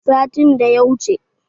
A satin da ya wuce.